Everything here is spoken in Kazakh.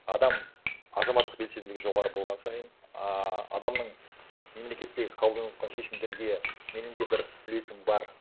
адам азаматтық белсенділігі жоғары болған сайын ааа адамның мемлекеттегі қабылданыватқан шешімдерге менің де бір үлесім бар